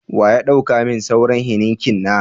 Wa ya dau ka min sauran " Heineken "na?